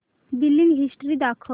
billing history दाखव